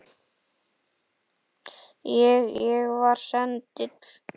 Ég. ég var sendill